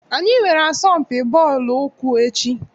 Anyị nwere asọmpi bọọlụ ụkwụ echi.